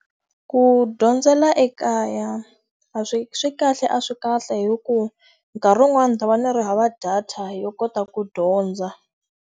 Ku dyondzela ekaya a swi swi kahle a swi kahle hikuva, nkarhi wun'wani ta va ndzi ri hava data yo kota ku dyondza.